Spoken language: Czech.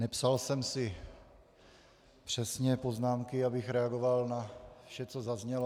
Nepsal jsem si přesně poznámky, abych reagoval na vše, co zaznělo.